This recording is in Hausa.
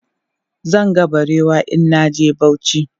Zan ga barewa in na je Bauchi.